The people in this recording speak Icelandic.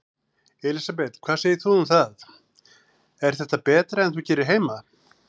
Elísabet: Hvað segir þú um það, er þetta betra en þú gerir heima?